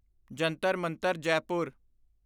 Jantar Mantar Jaipur